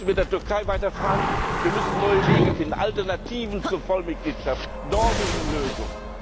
Ich meine, wir müssen mit der Türkei weiter verhandeln, wir müssen neue Wege finden, Alternativen zur Vollmitgliedschaft, Norwegen Lösung.